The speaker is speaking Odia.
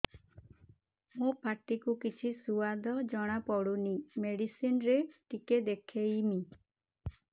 ମୋ ପାଟି କୁ କିଛି ସୁଆଦ ଜଣାପଡ଼ୁନି ମେଡିସିନ ରେ ଟିକେ ଦେଖେଇମି